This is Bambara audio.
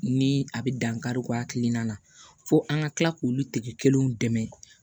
Ni a be dankari kɛ a hakilina na fo an ka kila k'olu tigi kelenw dɛmɛ